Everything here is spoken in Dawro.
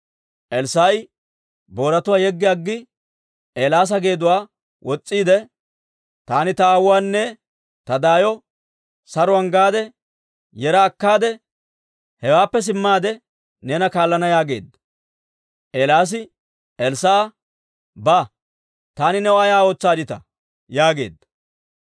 Elssaa'i booratuwaa yeggi aggi, Eelaasa geeduwaa wos's'iide, «Taani ta aawuwaanne ta daayo saruwaan gaade, yera akkaade, hewaappe simmaade, neena kaallana» yaageedda. Eelaasi Elssaa'a, «Ba. Taani new ay ootsaadditaa?» yaageedda.